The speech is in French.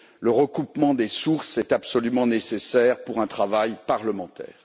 Le recoupement des sources est absolument nécessaire pour un travail parlementaire.